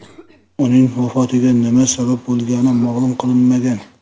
Uning vafotiga nima sabab bo‘lgani ma’lum qilinmagan.